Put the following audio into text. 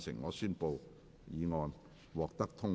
我宣布議案獲得通過。